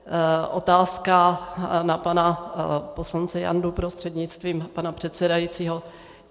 Otázka na pana poslance Jandu, prostřednictvím pana předsedajícího.